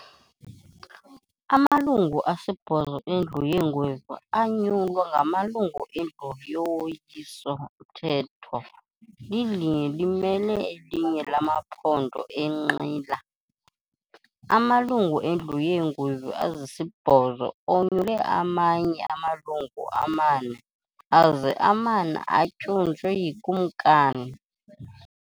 Amalungu asibhozo eNdlu yeeNgwevu anyulwa ngamalungu eNdlu yoWiso-mthetho - lilinye limele elinye lamaphondo enqila. Amalungu eNdlu yeeNgwevu ezisibhozo onyule amanye amalungu amane, aze amane atyunjwe yiKumkani.